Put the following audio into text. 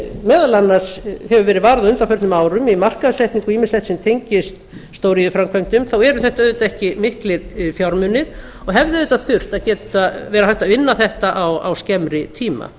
meðal annars hefur verið varið á undanförnum árum í markaðssetningu sem tengist stóriðjuframkvæmdum þá eru þetta auðvitað ekki miklir fjármunir og hefði auðvitað þurft að vera hægt að vinna þetta á skemmri tíma